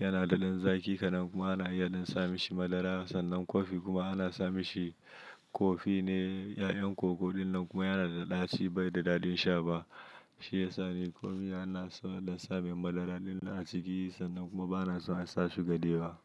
yana daɗin zaki ka nan kuma ana iya samun shi madara sannan kofi kuma ana samun shi kofi ne 'ya'yan koko ɗin nan kuma yana da ɗaci bai da daɗin sha ba. Shi ya sa ni kofi ana son da sabin madara dallin a ciki sannan kuma ba na son a sa shi ga da yawa.